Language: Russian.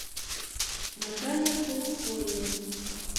наталья холухоева